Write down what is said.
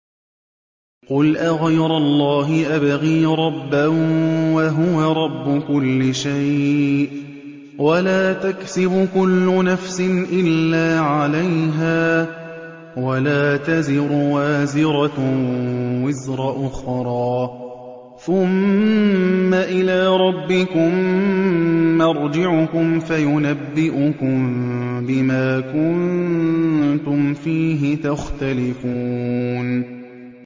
قُلْ أَغَيْرَ اللَّهِ أَبْغِي رَبًّا وَهُوَ رَبُّ كُلِّ شَيْءٍ ۚ وَلَا تَكْسِبُ كُلُّ نَفْسٍ إِلَّا عَلَيْهَا ۚ وَلَا تَزِرُ وَازِرَةٌ وِزْرَ أُخْرَىٰ ۚ ثُمَّ إِلَىٰ رَبِّكُم مَّرْجِعُكُمْ فَيُنَبِّئُكُم بِمَا كُنتُمْ فِيهِ تَخْتَلِفُونَ